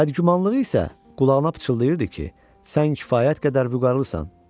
Bəd gümanlığı isə qulağına pıçıldayırdı ki, sən kifayət qədər vüqarlısan.